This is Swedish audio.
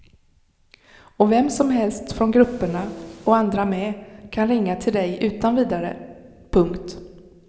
Och vem som helst från grupperna och andra med kan ringa till dig utan vidare. punkt